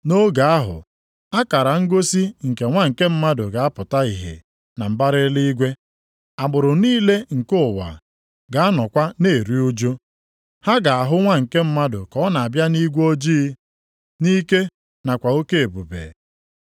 “Nʼoge ahụ akara ngosi nke Nwa nke Mmadụ ga-apụta ihe na mbara eluigwe. Agbụrụ niile nke ụwa ga-anọkwa na-eru ụjụ. Ha ga-ahụ Nwa nke Mmadụ ka ọ na-abịa nʼigwe ojii, nʼike nakwa oke ebube.